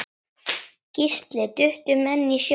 Gísli: Duttu menn í sjóinn?